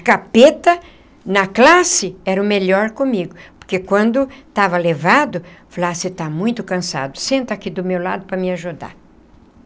Capeta, na classe, era o melhor comigo, porque quando estava levado, falava ah você está muito cansado, senta aqui do meu lado para me ajudar.